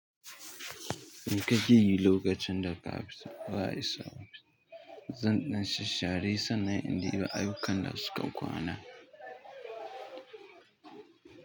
Me ka ke yi lokacin da ka afsa ka isa. Zan ɗan sasshare sannan in ɗiba ayukan da suka kwana.